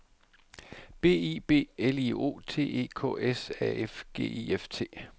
B I B L I O T E K S A F G I F T